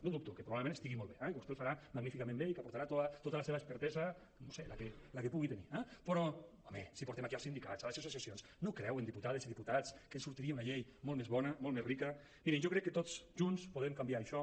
no dubto que probablement estigui molt bé eh que vostè ho farà magníficament bé i que aportarà tota la seva expertesa no sé la que pugui tenir eh però home si portem aquí els sindicats les associacions no creuen diputades i diputats que ens sortiria una llei molt més bona molt més rica mirin jo crec que tots junts podem canviar això